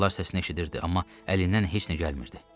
Onun ağlar səsini eşidirdi, amma əlindən heç nə gəlmirdi.